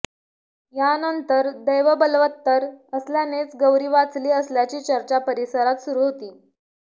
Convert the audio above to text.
यानंतर दैवबलवत्तर असल्यानेच गौरी वाचली असल्याची चर्चा परिसरात सुरू होती